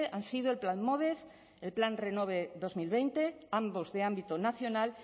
han sido el plan moves el plan renove dos mil veinte ambos de ámbito nacional